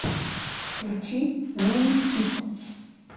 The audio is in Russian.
включи мин ит